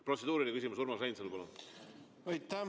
Protseduuriline küsimus, Urmas Reinsalu, palun!